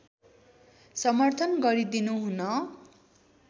समर्थन गरिदिनुहुन